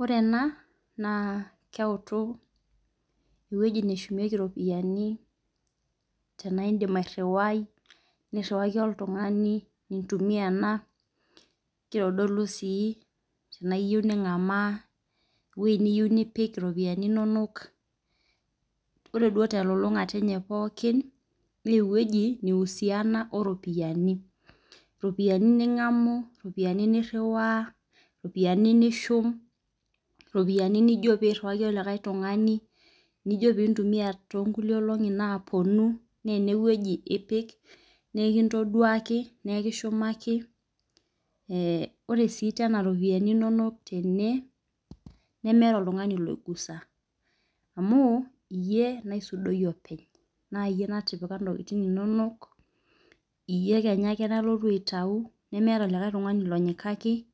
Ore ena naa keutu eweji neshumieki iropiani tena idim aruai niriwaki oltung'ani, nintumia ena, kitodulu sii tena iyou ning'an eweji niyou nipik iropiani inonok, ore duo telolong'ata enye pookin naaa eweji na ihusiana oo ropiani. Iropiani ning'anu iropiani niriwa iropiani nishum iropiani nijo piriwaki likae tung'ani nijo pintumia too nkulie olong'i napuonu naa eneweji ipik naa iki ntoduaki ikishumaki. Ore sii tena iropiani inonok tene nemetaa oltung'ani loigusa amu iyie naisudoiyie openy. Naa iyie natipika intokitin inonok. Iyie kenya ake nalotu aitayu nemeeta likae tungani lonyikaki